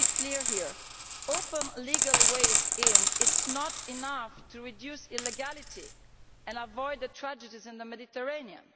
Let us be clear here opening up legal ways of entry is not enough to reduce illegality and to avoid the tragedies in the Mediterranean.